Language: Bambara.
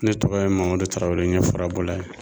Ne tɔgɔ ye Mamadu Tarawele n ye fura bɔla ye